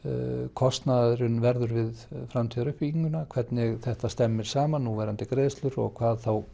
kostnaður verði við framtíðaruppbygginguna hvernig þetta stemmir saman núverandi greiðslur og hvað